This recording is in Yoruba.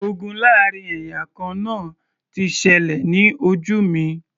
Ogun láàrin ẹ̀yà kan náà ti ṣẹlẹ̀ ní ojú mi